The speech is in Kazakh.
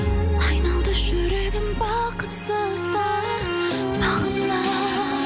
айналды жүрегім бақытсыздар бағында